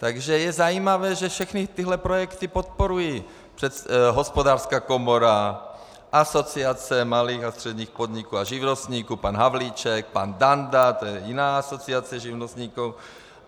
Takže je zajímavé, že všechny tyhle projekty podporují Hospodářská komora, Asociace malých a středních podniků a živnostníků, pan Havlíček, pan Danda, to je jiná asociace živnostníků.